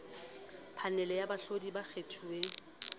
phanele ya baahlodi ba kgethuweng